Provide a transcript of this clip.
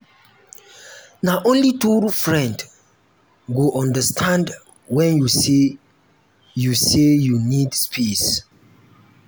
na only true friend go understand wen you say you say you need space.